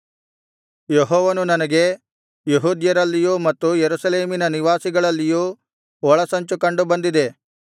ಯೆಹೋವನು ನನಗೆ ಯೆಹೂದ್ಯರಲ್ಲಿಯೂ ಮತ್ತು ಯೆರೂಸಲೇಮಿನ ನಿವಾಸಿಗಳಲ್ಲಿಯೂ ಒಳಸಂಚು ಕಂಡು ಬಂದಿದೆ